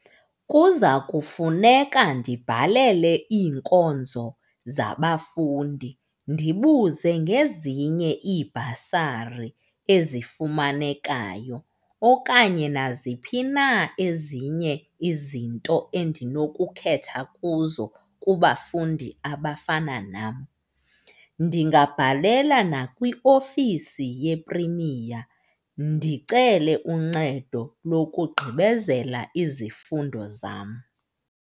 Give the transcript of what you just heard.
Kuza kufuneka ndibhalele iinkonzo zabafundi ndibuze ngezinye iibhasari ezifumanekayo okanye naziphi na ezinye izinto endinokukhetha kuzo kubafundi abafana nam. Ndingabhalela nakwiofisi yePrimiya ndicele uncedo lokugqibezela izifundo zam.